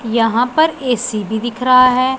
यहां पर ए_सी भी दिख रहा है।